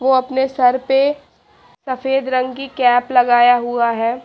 वो अपने सर पे सफेद रंग की कैप लगाया हुआ है।